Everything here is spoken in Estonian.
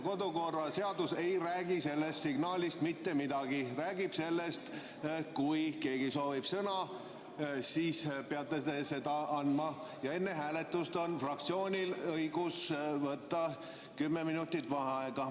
Kodukorraseadus ei räägi sellest signaalist mitte midagi, see räägib sellest, et kui keegi soovib sõna, siis peate teie seda andma, ja enne hääletust on fraktsioonil õigus võtta kümme minutit vaheaega.